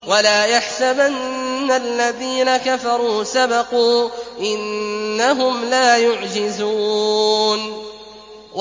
وَلَا يَحْسَبَنَّ الَّذِينَ كَفَرُوا سَبَقُوا ۚ إِنَّهُمْ لَا يُعْجِزُونَ